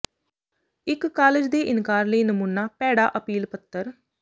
ਇੱਕ ਕਾਲਜ ਦੇ ਇਨਕਾਰ ਲਈ ਨਮੂਨਾ ਭੈੜਾ ਅਪੀਲ ਪੱਤਰ